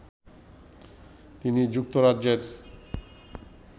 তিনি যুক্তরাজ্যের